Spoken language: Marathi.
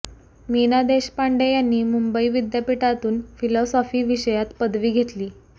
मीना देशपांडे यांनी मुंबई विद्यापीठातून फिलॉसॉफी विषयात पदवी घेतली